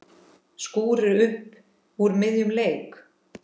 Skúrir upp úr miðjum leik.